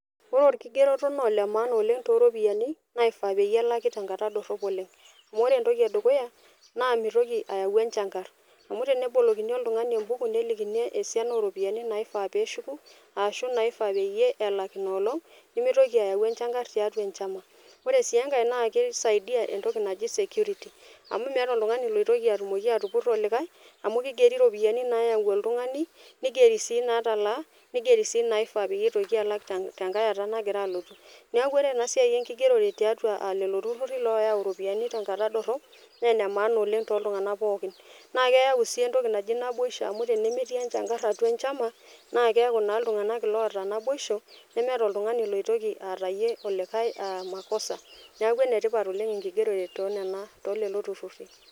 Ore orkigeroto naa ole maana oleng toropiyiani naifaa peyie elaki tenkata dorrop oleng amu ore ore entoki edukuya naa mitoki ayau enchankarr amu tenebolokini oltung'ani embuku nelikini esiana oropiyiani naifaa peshuku ashu naifaa peyie elak inolong nemitoki ayau enchankarr tiatua enchama ore sii enkae naa kisaidia entoki naji security amu meeta oltung'ani loitoki atumoki atupurro olikae amu kigeri iropiyiani nayau oltung'ani nigeri sii natalaa nigeri sii naifaa pitoki alak tenkae ata naitoki alotu niaku ore ena siai enkigerore tiatua uh lelo turruri loyau iropiyiani tenkata dorrop naa ene maana oleng toltung'anak pookin naa keyau sii entoki naji naboisho amu ore tenemetii enchankarr atua enchama naa keeku naa iltung'anak iloota naboisho nemeeta oltung'anai loitoki aatayie olikae uh makosa niaku enetipat oleng enkigerore tonena tolelo turruri.